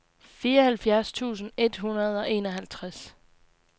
fireoghalvfjerds tusind et hundrede og enoghalvtreds